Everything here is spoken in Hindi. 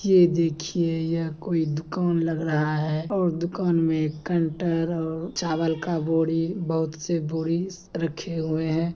ये देखिए यह कोई दुकान लग रहा है और दुकान मे कंटर और चावल का बोरी बहोत से बोरी रखे हुए हैं।